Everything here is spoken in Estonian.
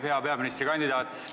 Hea peaministrikandidaat!